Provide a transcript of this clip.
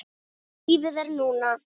Lífið er núna